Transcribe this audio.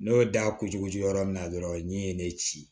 N'o da kutugu yɔrɔ min na dɔrɔn min ye ne ci